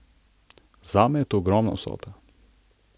Zame je to ogromna vsota.